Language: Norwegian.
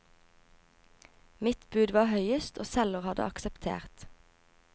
Mitt bud var høyest og selger hadde akseptert.